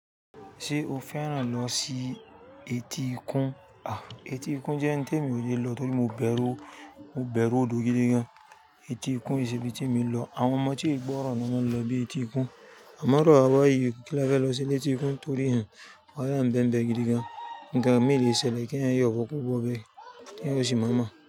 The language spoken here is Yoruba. Ṣé o fẹ́ràn lọ sí etíkun? À, etíkun jẹ́ n tó mi ò le lọ torí mo bẹ̀rù, mo bẹ̀rù odò gidi gan. Etíkun ò n ṣe bíi tí mo lọ. Àwọn ọmọ tí ìgbọ́ràn ló máa ń lọ bí etíkun. Àmo iru àwa bayìí kí lá fẹ́ lọ se ni etíkun torí hùn, wahala ń beẹ́nbẹ̀ gidi gan. Nkan mí le ṣẹ̀lẹ̀ kí ẹ̀yin yóò bó kó bọ̀o bẹ́, ki eeyan ò ṣì máa mọ̀